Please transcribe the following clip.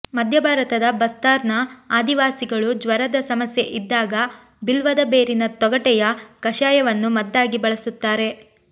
ಮಧ್ಯಭಾರತದ ಬಸ್ತಾರ್ ನ ಆದಿವಾಸಿಗಳು ಜ್ವರದ ಸಮಸ್ಯೆ ಇದ್ದಾಗ ಬಿಲ್ವದ ಬೇರಿನ ತೊಗಟೆಯ ಕಷಾಯವನ್ನು ಮದ್ದಾಗಿ ಬಳಸುತ್ತಾರೆ